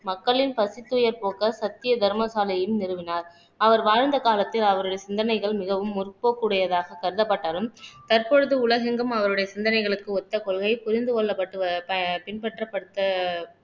மக்களின் பசித் துயர் போக்க சத்திய தர்ம சாலையையும் நிறுவினார் அவர் வாழ்ந்த காலத்தில் அவருடைய சிந்தனைகள் மிகவும் முற்போக்கு உடையதாக கருதப்பட்டாலும் தற்பொழுது உலகெங்கும் அவருடைய சிந்தனைகளுக்கு ஒத்த கொள்கை புரிந்து கொள்ளப்பட்டு பின்பற்றப்பட்ட